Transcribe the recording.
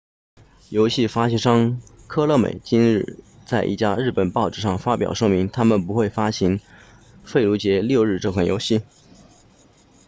游戏发行商科乐美 konami 今天在一家日本报纸上发表声明他们不会发行费卢杰六日这款游戏